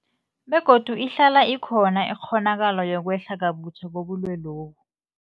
Begodu ihlala ikhona ikghonakalo yokwehla kabutjha kobulwelobu.